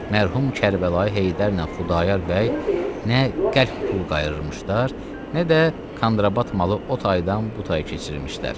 mərhum Kərbəlayı Heydərlə Xudayar bəy nə qəlb pul qayırmışdılar, nə də kanrabat malı o taydan bu taya keçirmişdilər.